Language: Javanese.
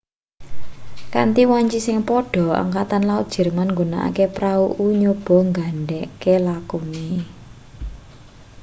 kanthi wanci sing padha angkatan laut jerman nggunakake prau-u nyoba ngendhegke lakune